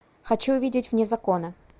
хочу увидеть вне закона